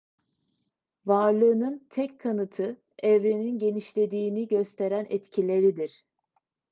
varlığının tek kanıtı evrenin genişlediğini gösteren etkileridir